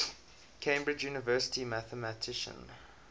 cambridge university mathematician